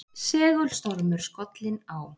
Segulstormur skollinn á